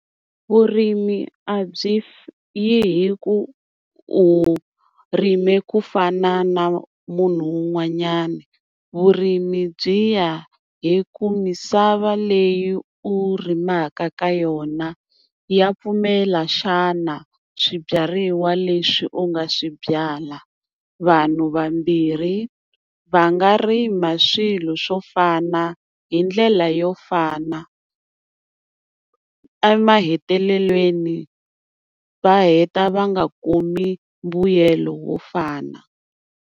Vurimi a byi yi hi ku u rime ku fana na munhu un'wanyana. Vurimi byi ya hi ku misava leyi u rimaka ka yona ya pfumela xana swibyariwa leswi u nga swi byala. Vanhu vambirhi va nga rima swilo swo fana hi ndlela yo fana, emahetelelweni va heta va nga kumi mbuyelo wo fana.